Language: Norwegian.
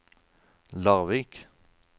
Larvik